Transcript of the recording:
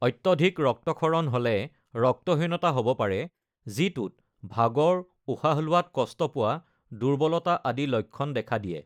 অত্যধিক ৰক্তক্ষৰণ হ’লে ৰক্তহীনতা হ’ব পাৰে যিটোত ভাগৰ, উশাহ লোৱাত কষ্ট পোৱা, দুৰ্বলতা আদি লক্ষণ দেখা দিয়ে।